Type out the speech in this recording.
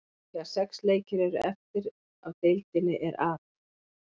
Þegar sex leikir eru eftir af deildinni er At.